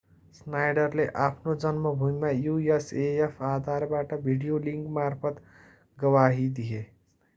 schneiderले आफ्नो जन्मभूमिमा usaf आधारबाट भिडियो लिंकमार्फत गवाही दिए।